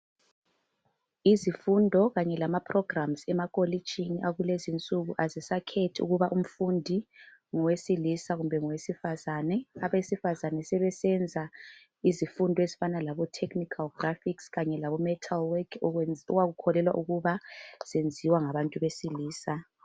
Izifundo kanye lama "programmes" e,akolitshini akulezi insuku azisakhethi ukuba umfundi ngowesilisa kumbe ngowesifazane, abesifazane sebesenza izifundo ezifana labo"technical graphics" kanye labo"metal work" okwenziwa kukholelwa ukuba kwenziwa ngabantu besilisa.